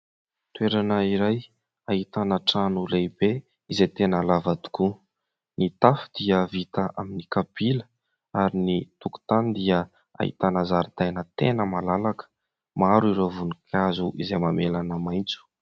Toerana iray ahitana trano lehibe izay tena lava tokoa. Ny tafo dia vita amin'ny kapila ary ny tokonatany dia ahitana zaridaina tena malalaka. Maro ireo voninkazo izay mamelana maitso.